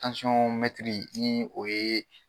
ni o ye.